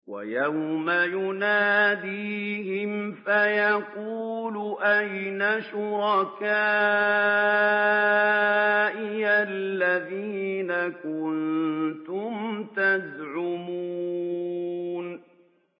وَيَوْمَ يُنَادِيهِمْ فَيَقُولُ أَيْنَ شُرَكَائِيَ الَّذِينَ كُنتُمْ تَزْعُمُونَ